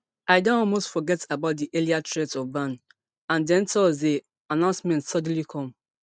i don almost forget about [di earlier threat of ban] and den thursday announcement suddenly come